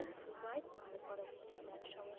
তাহলে পরবর্তীতে আর সমস্যা